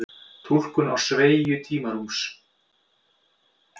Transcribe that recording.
túlkun á sveigju tímarúms